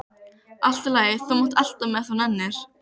Allt í lagi, þú mátt elta mig ef þú nennir.